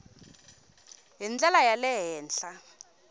hi ndlela ya le henhla